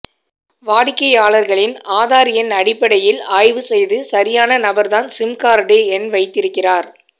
வாடிக்கையாளர்களின் ஆதார் எண் அடிப்படையில் ஆய்வு செய்து சரியான நபர்தான் சிம்கார்டு எண் வைத்திருக்கிறார்